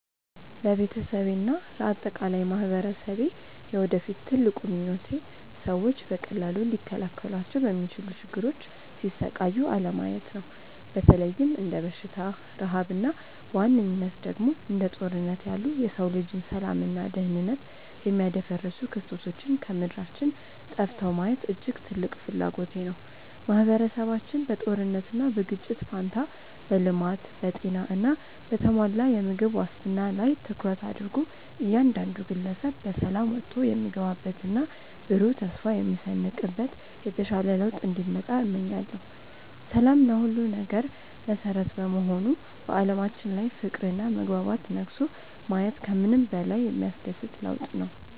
ለቤተሰቤና ለአጠቃላይ ማኅበረሰቤ የወደፊት ትልቁ ምኞቴ ሰዎች በቀላሉ ሊከላከሏቸው በሚችሉ ችግሮች ሲሰቃዩ አለማየት ነው። በተለይም እንደ በሽታ፣ ረሃብ እና በዋነኝነት ደግሞ እንደ ጦርነት ያሉ የሰው ልጅን ሰላምና ደኅንነት የሚያደፈርሱ ክስተቶች ከምድራችን ጠፍተው ማየት እጅግ ትልቅ ፍላጎቴ ነው። ማኅበረሰባችን በጦርነትና በግጭት ፋንታ በልማት፣ በጤና እና በተሟላ የምግብ ዋስትና ላይ ትኩረት አድርጎ እያንዳንዱ ግለሰብ በሰላም ወጥቶ የሚገባበትና ብሩህ ተስፋ የሚሰንቅበት የተሻለ ለውጥ እንዲመጣ እመኛለሁ። ሰላም ለሁሉም ነገር መሠረት በመሆኑ በዓለማችን ላይ ፍቅርና መግባባት ነግሶ ማየት ከምንም በላይ የሚያስደስት ለውጥ ነው።